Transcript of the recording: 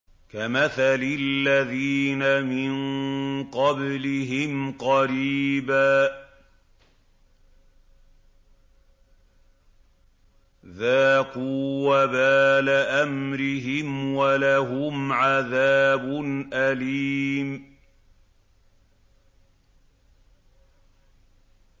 كَمَثَلِ الَّذِينَ مِن قَبْلِهِمْ قَرِيبًا ۖ ذَاقُوا وَبَالَ أَمْرِهِمْ وَلَهُمْ عَذَابٌ أَلِيمٌ